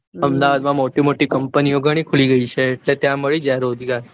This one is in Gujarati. અમદાવાદમાં મોટી મોટી company ઓ ઘણી ખુલી જઈ છે એટલે ત્યાં મળી જાય રોજગાર.